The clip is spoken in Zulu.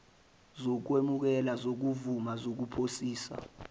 zokwemukela zokuvuma nokuphasisa